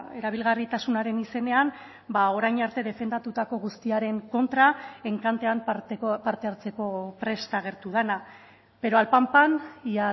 erabilgarritasunaren izenean orain arte defendatutako guztiaren kontra enkantean parte hartzeko prest agertu dena pero al pan pan y